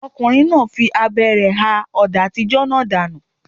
Ọkùnrin náà fi abẹ rẹ̀ ha ọ̀dà àtijọ́ náà dànù.